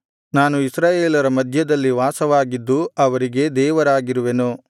ನಾನು ಇಸ್ರಾಯೇಲರ ಮಧ್ಯದಲ್ಲಿ ವಾಸವಾಗಿದ್ದು ಅವರಿಗೆ ದೇವರಾಗಿರುವೆನು